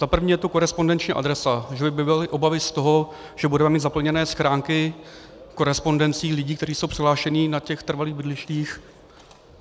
Za první je tu korespondenční adresa, že by byly obavy z toho, že budeme mít zaplněné schránky korespondencí lidí, kteří jsou přihlášeni na těch trvalých bydlištích.